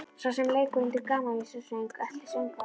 Sá sem leikur undir gamanvísnasöng eltir söngvarann.